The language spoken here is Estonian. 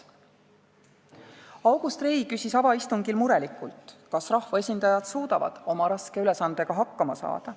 August Rei küsis avaistungil murelikult, kas rahvaesindajad suudavad oma raske ülesandega hakkama saada.